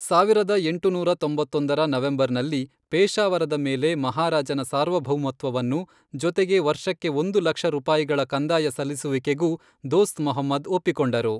ಸಾವಿರದ ಎಂಟುನೂರ ತೊಂಬತ್ತೊಂದರ ನವೆಂಬರ್ನಲ್ಲಿ, ಪೇಶಾವರದ ಮೇಲೆ ಮಹಾರಾಜನ ಸಾರ್ವಭೌಮತ್ವವನ್ನು, ಜೊತೆಗೆ ವರ್ಷಕ್ಕೆ ಒಂದು ಲಕ್ಷ ರೂಪಾಯಿಗಳ ಕಂದಾಯ ಸಲ್ಲಿಸುವಿಕೆಗೂ, ದೋಸ್ತ್ ಮೊಹಮ್ಮದ್ ಒಪ್ಪಿಕೊಂಡರು.